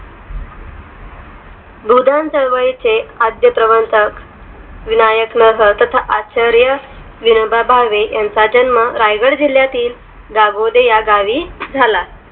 बुध चळवळी चे आद्य प्रवर्तक विनायक नव्हता आचार्य विनोबा भावे यांचा जन्म रायगड जिल्ह्यातील जाग वडे या गावी झाला